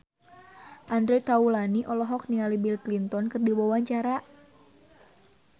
Andre Taulany olohok ningali Bill Clinton keur diwawancara